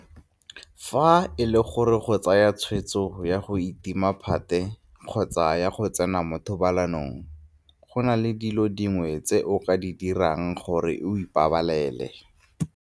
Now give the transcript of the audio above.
Fa e le gore o tsaya tshwetso ya go itima phate kgotsa ya go tsena mo thobalanong, go na le dilo dingwe tse o ka di dirang gore o ipabalele